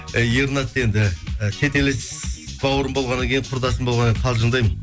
ернат енді і тетелес бауырым болғаннан кейін құрдасым болғаннан кейін қалжындаймын